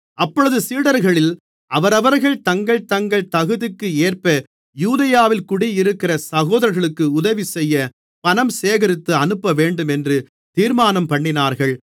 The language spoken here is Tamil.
அப்பொழுது சீடர்களில் அவரவர்கள் தங்கள் தங்கள் தகுதிக்கேற்ப யூதேயாவில் குடியிருக்கிற சகோதரர்களுக்கு உதவிசெய்ய பணம் சேகரித்து அனுப்பவேண்டுமென்று தீர்மானம்பண்ணினார்கள்